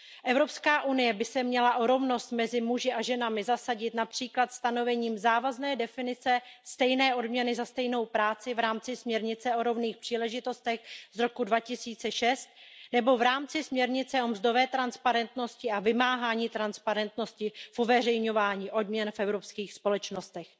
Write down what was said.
EU by se měla o rovnost mezi muži a ženami zasadit například stanovením závazné definice stejné odměny za stejnou práci v rámci směrnice o rovných příležitostech z roku 2006 nebo v rámci směrnice o mzdové transparentnosti a vymáhání transparentnosti v uveřejňování odměn v evropských společnostech.